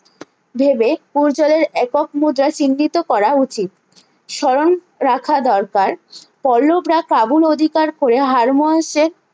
ভেবে করজালের একক মৌজা চিন্নিত করা উচিত স্মরণ রাখা দরকার পল্লবরা কাবুল অধিকার করে হারমোওয়াশ এর